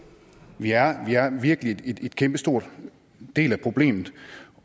vi er vi er virkelig en kæmpe stor del af problemet